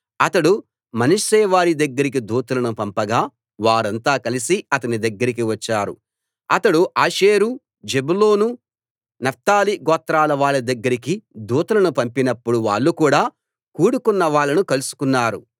అతడు మనష్షె వారి దగ్గరికి దూతలను పంపగా వారంతా కలిసి అతని దగ్గరికి వచ్చారు అతడు ఆషేరు జెబూలూను నఫ్తాలి గోత్రాలవాళ్ళ దగ్గరికి దూతలను పంపినప్పుడు వాళ్ళు కూడా కూడుకొన్న వాళ్ళను కలుసుకున్నారు